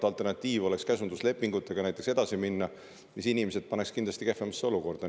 Alternatiiv oleks käsunduslepingutega edasi minna, aga see paneks kindlasti inimesed kehvemasse olukorda.